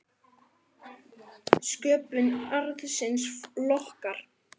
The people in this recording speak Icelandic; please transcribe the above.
Sköpun arðsins lokkar.